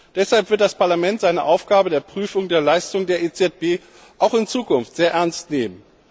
Deshalb wird das Parlament seine Aufgabe der Prüfung der Leistung der EZB auch in Zukunft sehr ernst nehmen.